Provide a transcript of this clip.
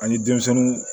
Ani denmisɛnnu